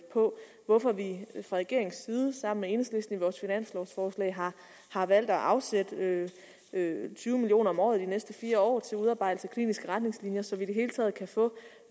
på hvorfor vi fra regeringens side sammen med enhedslisten i vores finanslovforslag har valgt at afsætte tyve million kroner om året de næste fire år til udarbejdelse af kliniske retningslinjer så vi i det hele taget kan få